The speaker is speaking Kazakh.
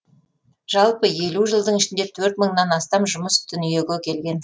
жалпы елу жылдың ішінде төрт мыңнан астам жұмыс дүниеге келген